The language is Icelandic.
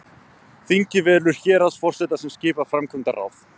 þingið velur héraðsforseta sem skipar framkvæmdaráð